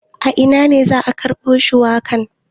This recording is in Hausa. A ina ne za a karbo shuwakan?